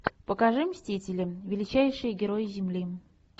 покажи мстители величайшие герои земли